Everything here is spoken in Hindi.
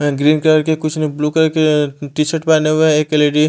ग्रीन कलर की कुछ लोग ब्लू कलर की टी शर्ट हुए है एक लेडी --